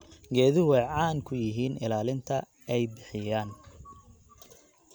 Geeduhu waxay caan ku yihiin ilaalinta ay bixiyaan.